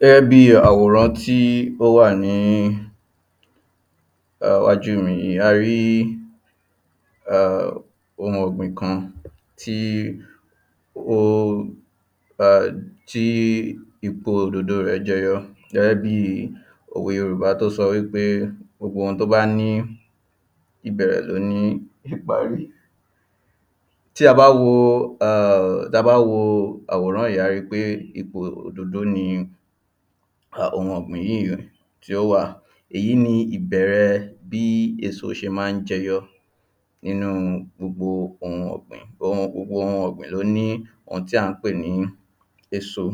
gẹ́gẹ́ bí àwòran tí ó wà ni iwájú mi a rí ohun ọ̀gbìn kan tí ó tí ipò òdòdó rẹ̀ jẹyọ gẹ́gẹ́ bí òwe yorùbá tó sọ wípé gbogbo ohun tó bá ní ìbẹ̀rẹ̀ ló ní ìparí ta bá wo àwòrán yìí a ríi pé ipò òdòdó ni ohun ọ̀gbìn yìí tí ó wà, èyí ni ìbẹ̀rẹ bí èso ṣe ma ń jẹyọ nínu gbogbo ohun ọ̀gbìn. gbogbo ohun ọ̀gbìn ló ní ohun tí à ń pè ní èso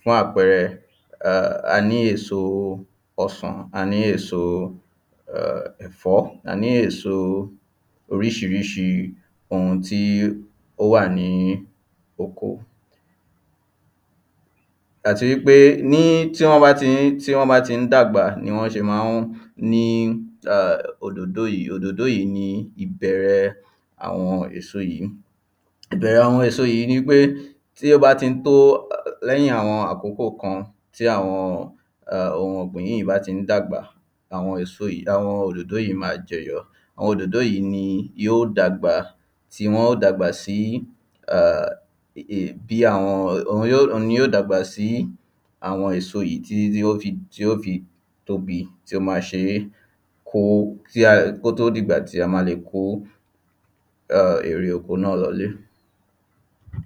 fún àpẹrẹ a ní èso ọsàn, a ní èso ẹ̀fọ́, a ní èso oríṣiríṣi, ohun tí ó wà ní oko àti wípé ní tí wọ́n bá ti ń dàgbà ni wọ́n ṣe ma ń ní òdòdó yìí, òdòdó yìí ni ìbẹ̀rẹ̀ àwọn èso yìí ìbẹ̀rẹ àwọn èso yìí ni pé tí ó bá ti tó lẹ́yìn àwọn àkókò kan tí àwọn ohun ọ̀gbìn yìí bá ti dàgbà àwọn òdòdó yìí mań jẹyọ àwọn òdòdó yìí ní ó dàgbà sí àwọn èso yìí títí tí yóò fi tóbi, tí ó máa ṣeé kó, kó tó di ìgbà tí a máa kó ère oko náà lọ ilé